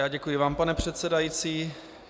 Já děkuji vám, pane předsedající.